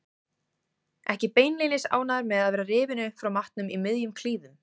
Ekki beinlínis ánægður með að vera rifinn upp frá matnum í miðjum klíðum.